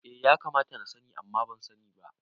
Eh ya kamata na sani amma ban sani ba